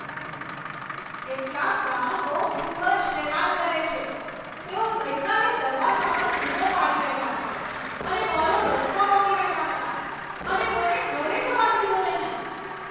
કેટલાક ગ્રાહકો ખૂબ જ હેરાન કરે છે. તેઓ ગઈકાલે દરવાજા પર બૂમો પાડી રહ્યા હતા અને મારો રસ્તો રોકી રહ્યા હતા, અને મને ઘરે જવા દીધો નહીં!